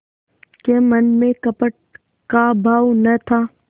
के मन में कपट का भाव न था